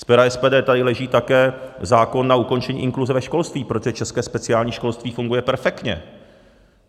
Z pera SPD tady leží také zákon na ukončení inkluze ve školství, protože české speciální školství funguje perfektně.